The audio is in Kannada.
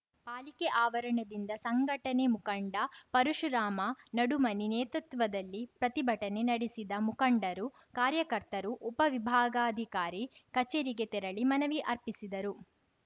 ಪಾಲಿಕೆ ಆವರಣದಿಂದ ಸಂಘಟನೆ ಮುಖಂಡ ಪರಶುರಾಮ ನಡುಮನಿ ನೇತೃತ್ವದಲ್ಲಿ ಪ್ರತಿಭಟನೆ ನಡೆಸಿದ ಮುಖಂಡರು ಕಾರ್ಯಕರ್ತರು ಉಪ ವಿಭಾಗಾಧಿಕಾರಿ ಕಚೇರಿಗೆ ತೆರಳಿ ಮನವಿ ಅರ್ಪಿಸಿದರು